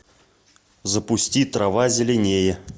запусти трава зеленее